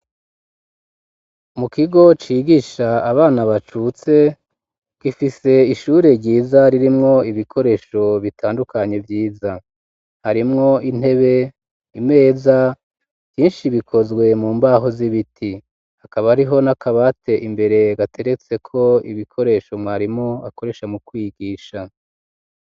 Mu kigo cigisha abana bacutse gifise ishure ryiza ririmwo ibikoresho bitandukanye vyiza harimwo intebe imeza vyinshi bikozwe mu mbaho z'ibiti akaba ariho n'akabate imbere gateretseko ibikoresho mwae rimo akoresha mu kwigisha.